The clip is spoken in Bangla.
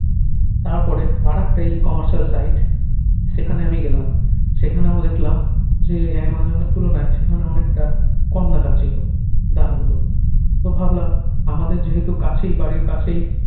তার পরে আরাকটা e commercial site সেখানে আমি গেলাম সেখানে আমি দেখালাম যে অ্যামাজন এর তুলনায় সেখানে অনেকটা কম দেখাচ্ছিলো দাম গুলো তো ভাবলাম আমাদের যেহেতু কাছেই বাড়ির কাছেই